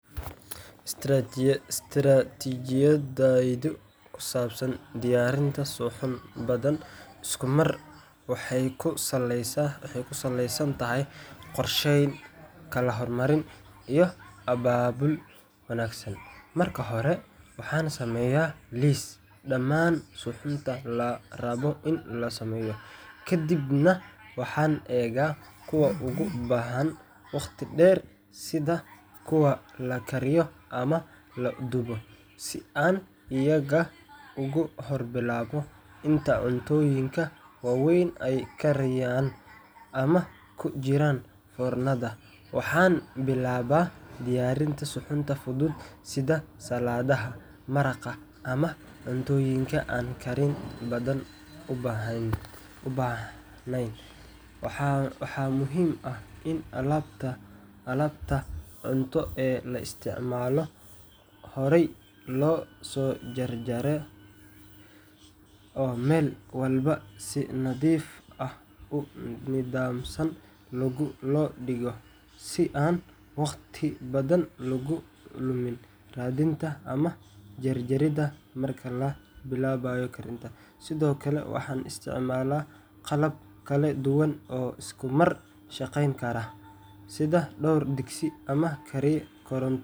Istaraatijiyaddayda ku saabsan diyaarinta suxuun badan isku mar waxay ku salaysan tahay qorsheyn, kala hormarin, iyo abaabul wanaagsan Marka hore, waxaan sameeyaa liis dhammaan suxuunta la rabo in la sameeyo, kadibna waxaan eegaa kuwa u baahan waqti dheer sida kuwa la kariyo ama la dubo, si aan iyaga ugu hor bilaabo. Inta cuntooyinka waaweyn ay kariayaan ama ku jiraan foornada, waxaan bilaabaa diyaarinta suxuunta fudud sida saladaha, maraqa, ama cuntooyinka aan karin badan u baahnayn. Waxaa muhiim ah in alaabta cunto ee la isticmaalayo horay loo soo jarjaro oo meel walba si nadiif ah oo nidaamsan loo dhigo, si aan waqti badan loogu lumin raadinta ama jaridda marka la bilaabayo karinta. Sidoo kale, waxaan isticmaalaa qalab kala duwan oo isku mar shaqayn kara, sida dhowr digsi ama kariye koronto.